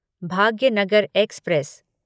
Bhagyanagar express